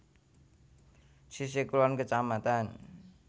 Sisihh Kulon Kec